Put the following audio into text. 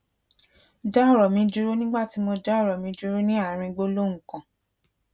dá òrò mi dúró nígbà tí mo dá òrò mi dúró ní àárín gbólóhùn kan